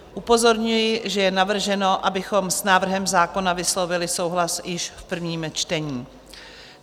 Upozorňuji, že je navrženo, abychom s návrhem zákona vyslovili souhlas již v prvním čtení.